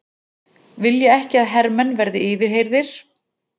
Vilja ekki að hermenn verði yfirheyrðir